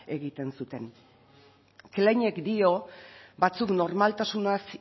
egiten zuten kleinek dio batzuek normaltasunaz